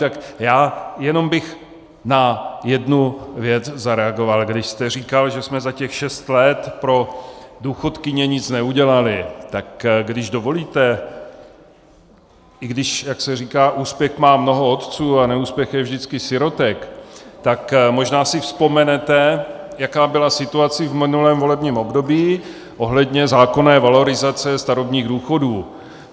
Tak já jenom bych na jednu věc zareagoval, když jste říkal, že jsme za těch šest let pro důchodkyně nic neudělali, tak když dovolíte, i když, jak se říká, úspěch má mnoho otců a neúspěch je vždycky sirotek, tak možná si vzpomenete, jaká byla situace v minulém volebním období ohledně zákonné valorizace starobních důchodů.